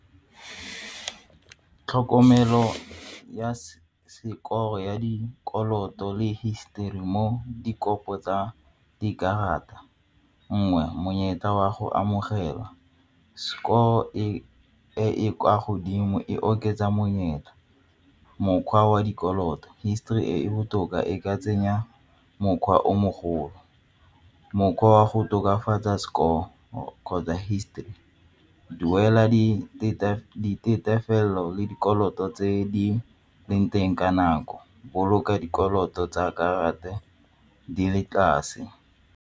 Tlhokomelo ya sekolo ya dikoloto le histori mo dikopo tsa dikarata, nngwe monyetla wa go amogelwa e e kwa godimo e oketsa monyetla mokgwa wa dikoloto histori e e botoka e ka tsenya mokgwa o mogolo. Mokgwa wa go tokafatsa score kgotsa histori, duela le dikoloto tse di leng teng ka nako, boloka dikoloto tsa karate di le tlase.